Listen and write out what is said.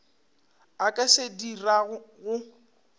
a ka se dirago go